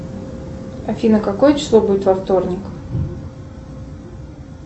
афина какое число будет во вторник